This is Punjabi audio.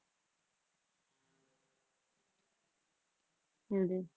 ਹਾਂਜੀ